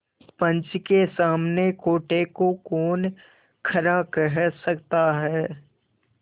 पंच के सामने खोटे को कौन खरा कह सकता है